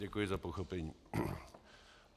Děkuji za pochopení.